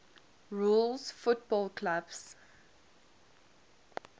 rules football clubs